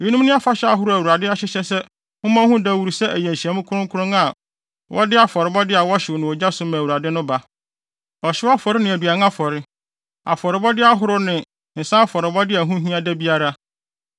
“ ‘Eyinom ne afahyɛ ahorow a Awurade ahyehyɛ sɛ mommɔ ho dawuru sɛ ɛyɛ nhyiamu kronkron a wɔde afɔrebɔde a wɔhyew no ogya so ma Awurade no ba: ɔhyew afɔre ne aduan afɔre, afɔrebɔde ahorow ne nsa afɔrebɔde a ɛho hia da biara.